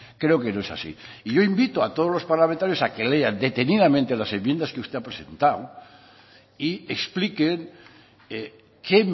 creo que no es así y yo invito a todos los parlamentarios a que lean detenidamente las enmiendas que usted ha presentado y explique qué